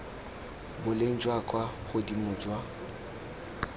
boleng jwa kwa godimo jwa